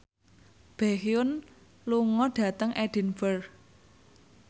Baekhyun lunga dhateng Edinburgh